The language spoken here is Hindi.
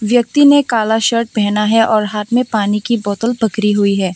व्यक्ति ने काला शर्ट पहना है और हाथ में पानी की बोतल पकड़ी हुई है।